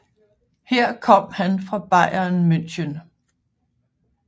Her kom han fra Bayern München